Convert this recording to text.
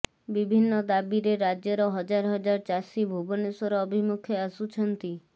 ବିଭିନ୍ନ ଦାବିରେ ରାଜ୍ୟର ହଜାର ହଜାର ଚାଷୀ ଭୁବନେଶ୍ୱର ଅଭିମୁଖେ ଆସୁଛନ୍ତି